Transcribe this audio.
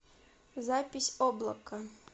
запись облако